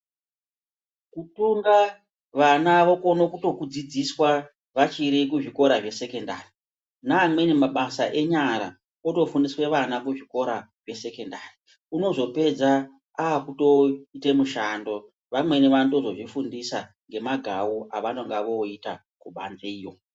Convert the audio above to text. Kutunga vana vokona kutokudzidziswa vachiri kuzvikora zvesekendari neamweni mabasa enyara otofundiswe vana kuzvikora zvesekendari. Unozopedza akutoite mushando. vamweni vanotozozvifundisa ngemagau avanonga voita kubanzeyo.